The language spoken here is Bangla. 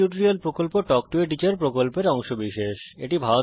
স্পোকেন টিউটোরিয়াল প্রকল্প তাল্ক টো a টিচার প্রকল্পের অংশবিশেষ